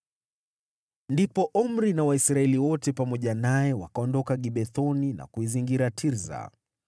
Ndipo Omri na Waisraeli wote pamoja naye wakaondoka Gibethoni na kuizingira Tirsa.